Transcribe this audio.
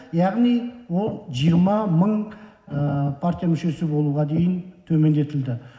яғни ол жиырма мың партия мүшесі болуға дейін төмендетілді